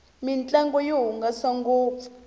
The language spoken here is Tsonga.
mintlangu yi hungasa ngopfu